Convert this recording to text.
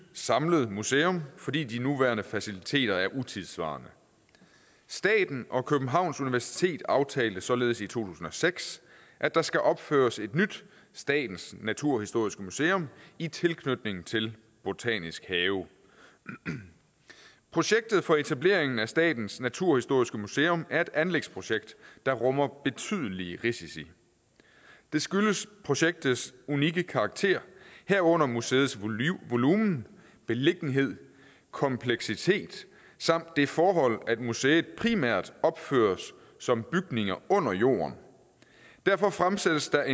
samlet museum fordi de nuværende faciliteter er utidssvarende staten og københavns universitet aftalte således i to tusind og seks at der skal opføres et nyt statens naturhistoriske museum i tilknytning til botanisk have projektet for etableringen af statens naturhistoriske museum er et anlægsprojekt der rummer betydelige risici det skyldes projektets unikke karakter herunder museets volumen beliggenhed kompleksitet samt det forhold at museet primært opføres som bygninger under jorden derfor fremsættes der